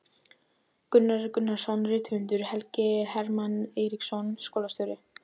Gunnar Gunnarsson rithöfundur, Helgi Hermann Eiríksson skólastjóri